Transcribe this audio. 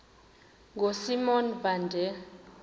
ngosimon van der